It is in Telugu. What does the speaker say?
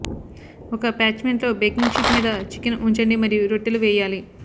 ఒక పార్చ్మెంట్లో బేకింగ్ షీట్ మీద చికెన్ ఉంచండి మరియు రొట్టెలు వేయాలి